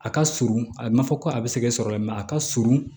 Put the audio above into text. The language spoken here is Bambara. A ka surun a bɛ nafa ko a bɛ sɛgɛsɔrɔ a ka surun